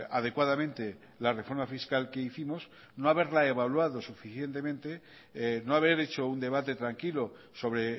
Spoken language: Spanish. adecuadamente la reforma fiscal que hicimos no haberla evaluado suficientemente no haber hecho un debate tranquilo sobre